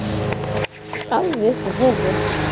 Alveg upp úr þurru?